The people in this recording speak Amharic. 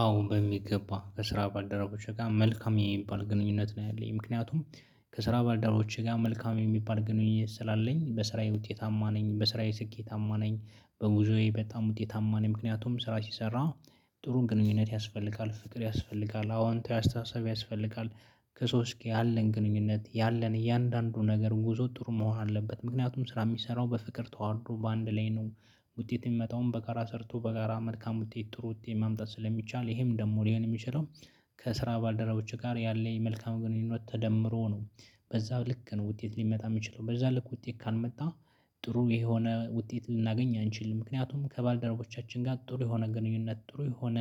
አዎ በሚገባ ከስራ ባደረጉት ጋር መልካም የሚባል ግንኙነት ነው ያለኝ ምክንያቱም ከስራ ባልደረቦቼ ጋር መልካም የሚባል ግንኙነት ስላለኝ በስራዬ ውጤታማ ነኝ በስራዬ ስኬታማ ነኝ። በጉዞዬ በጣም ውጤታማ ነው ምክንያቱም ስራ ሲሰራ ጥሩ ግንኙነት ያስፈልጋል ፍቅር ያስፈልጋል አዎ አንተ ያስተሳሰብ ያስፈልጋል። ከሰውስኪ ያለን ግንኙነት ያለን እያንዳንዱ ነገር ጉዞ ጥሩ መሆን አለበት ምክንያቱም ስራ የሚሰራው በፍቅር ተዋርዶ በአንድ ላይ ነው። ውጤት የሚመጣውን በጋራ ሰርቶ በጋራ መልካም ውጤት ጥሩ ውጤት ማምጣት ስለሚቻል ይሄም ደግሞ ሊሆን የሚችለው ከስራ ባልደረቦች ጋር ያለ መልካም ግንኙነት ተደምሮ ነው። በዛ ልክ ነው ውጤት ሊመጣ የሚችለው በዛ ልክ ውጤት ካልመጣ ጥሩ የሆነ ውጤት ልናገኝ አንችልም። ምክንያቱም ከባልደረቦቻችን ጋር ጥሩ የሆነ ግንኙነት ጥሩ የሆነ